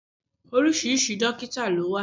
Oríṣiríṣi dọ́kítà ló wà.